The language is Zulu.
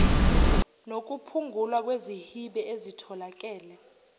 nokuphungulwa kwezihibe ezitholakele